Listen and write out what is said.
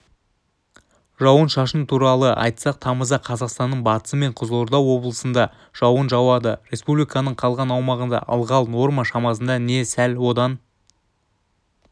жауын шашын туралы айтсақ тамызда қазақстанның батысы мен қызылорда облысында жауын жауады республиканың қалған аумағында ылғал норма шамасында не сәл одан